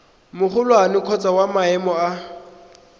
magolwane kgotsa wa maemo a